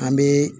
An bɛ